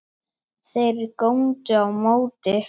Þeir góndu á móti.